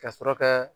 Ka sɔrɔ ka